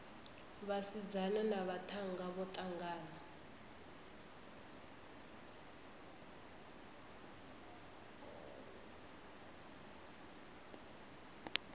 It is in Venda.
vhasidzana na vhaṱhannga vho ṱangana